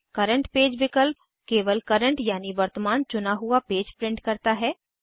current page विकल्प केवल current यानि वर्तमान चुना हुआ पेज प्रिंट करता है